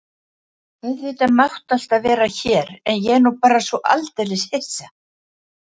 Auðvitað máttu alltaf vera hér en ég er nú bara svo aldeilis hissa.